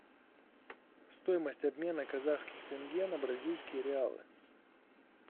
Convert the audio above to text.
стоимость обмена казахских тенге на бразильские реалы